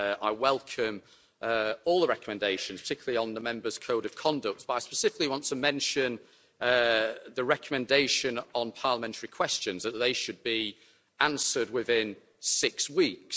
I welcome all the recommendations, particularly on the Members' Code of Conduct, but I specifically want to mention the recommendation on parliamentary questions that they should be answered within six weeks.